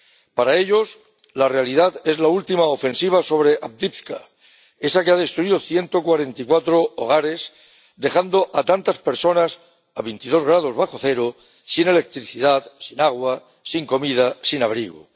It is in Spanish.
Para ellos, la realidad es la última ofensiva sobre Avdiivka, esa que ha destruido 144 hogares dejando a tantas personas, a 22 grados bajo cero, sin electricidad, sin agua, sin comida, sin abrigo.